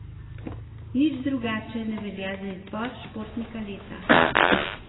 Nič drugače ne velja za izbor športnika leta.